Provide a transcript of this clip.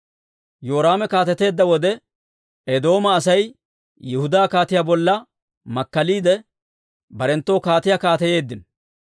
Yoraame kaateteedda wode, Eedooma Asay Yihudaa kaatiyaa bolla makkaliide, barenttoo kaatiyaa kaateyeeddino.